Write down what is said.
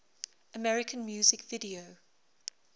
american music video